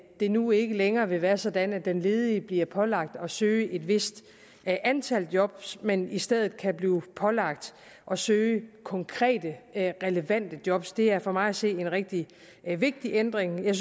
det nu ikke længere vil være sådan at den ledige bliver pålagt at søge et vist antal job men i stedet kan blive pålagt at søge konkrete relevante job er for mig at se en rigtig vigtig ændring jeg